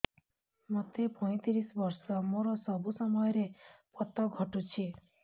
ମୋତେ ପଇଂତିରିଶ ବର୍ଷ ମୋର ସବୁ ସମୟରେ ପତ ଘଟୁଛି